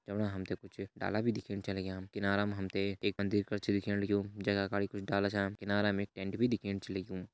जौणा हमथे कुछ डाला भी दिखेण च लग्यां किनारा मा हमथे एक मंदिर कर च दिख्येण लग्युं जना काड़ी कुछ डाला छान किनारा में टेंट भी दिखेण च लग्यूं।